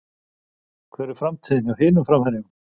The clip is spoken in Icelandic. Hver er framtíðin hjá hinum framherjunum?